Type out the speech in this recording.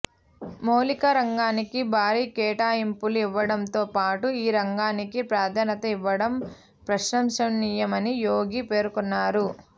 మౌలిక రంగానికి భారీ కేటాయింపులు ఇవ్వడంతో పాటు ఈ రంగానికి ప్రాధాన్యత ఇవ్వడం ప్రశంసనీయమని యోగి పేర్కొన్నారు